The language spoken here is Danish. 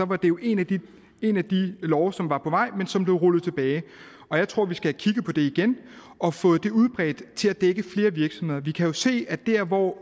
det jo en af de love som var på vej men som blev rullet tilbage og jeg tror vi skal kigge på det igen og få det udbredt til at dække flere virksomheder vi kan jo se at der hvor